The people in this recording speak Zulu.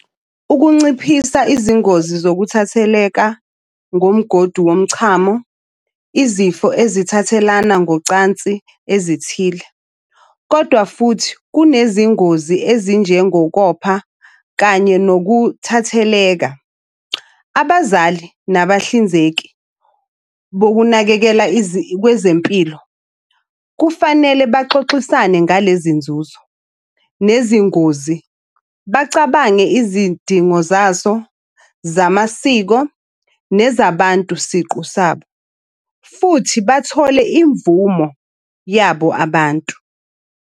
Ukunciphisa izingozi zokuthatheleka ngomgodi womchamo, izifo ezithathelana ngocansi ezithile, kodwa futhi kunezingozi ezinjengokopha kanye nokuthatheleka. Abazali nabahlinzeki bokunakekela kwezempilo kufanele baxoxisane ngale zinzuzo nezingozi. Bacabange izidingo zaso zamasiko nezabantu siqu sabo, futhi bathole imvumo yabo abantu.